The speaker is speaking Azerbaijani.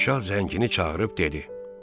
Padşah zəngini çağırıb dedi: